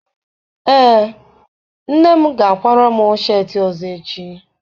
Ee, nne m ga-akwara m sheetị ọzọ echi